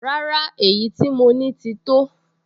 Rárá, èyí tí mo ní ti tó